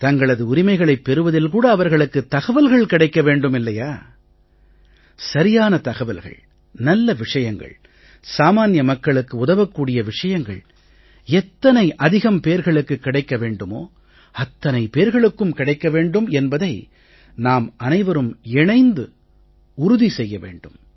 தங்களது உரிமைகளைப் பெறுவதில் கூட அவர்களுக்குத் தகவல்கள் கிடைக்க வேண்டும் இல்லையா சரியான தகவல்கள் நல்ல விஷயங்கள் சாமான்ய மக்களுக்கு உதவக் கூடிய விஷயங்கள் எத்தனை அதிகப் பேர்களுக்குக் கிடைக்க வேண்டுமோ அத்தனை பேர்களுக்கும் கிடைக்க வேண்டும் என்பதை நாம் அனைவரும் இணைந்து உறுதி செய்ய வேண்டும்